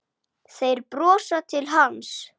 Þeir brosa til hans.